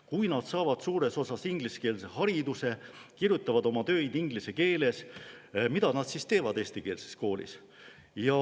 Kui nad saavad suures osas ingliskeelse hariduse, kirjutavad oma töid inglise keeles, mida nad siis seal eestikeelses koolis teevad.